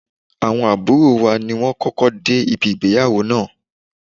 Awon aburo wa ni won koko de ibi igbeyawo naa